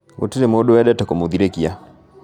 Gũrirĩ mũndũ wendete kũmũthikĩrĩria